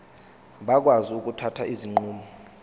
bakwazi ukuthatha izinqumo